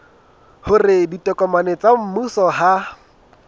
hore ditokomane tsa mmuso ha